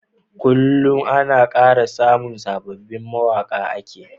Kullun Ana kara samun sababin mawaƙa ake